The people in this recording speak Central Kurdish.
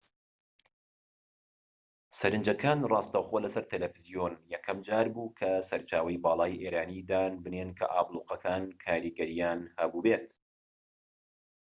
سەرنجەکان ڕاستەوخۆ لە سەر تەلەفزیۆن یەکەم جار بوو کە سەرچاوەی باڵای ئێرانی دان بنێن کە ئابلوقەکان کاریگەریان هەبوو بێت